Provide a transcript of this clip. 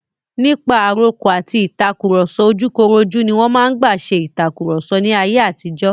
Nípa àrokò àti ìtàkurọ̀sọ ojúkorojú ní wọn máa ń gbà ṣe ìtàkurọ̀sọ ní ayé àtijó.